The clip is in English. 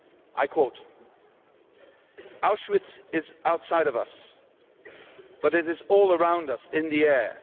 I quote Auschwitz is outside of us, but it is all around us, in the air.